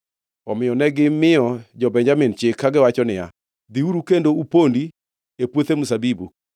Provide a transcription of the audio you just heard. Omiyo negimiyo jo-Benjamin chik, kagiwacho niya, “Dhiuru kendo upondi e puothe mzabibu